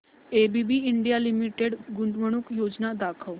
ABB India limited गुंतवणूक योजना दाखव